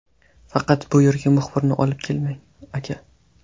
Faqat bu yerga muxbirni olib kelmang, aka!